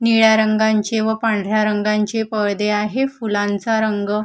निळ्या रंगांचे व पांढऱ्या रंगांचे पळदे आहे फुलांचा रंग--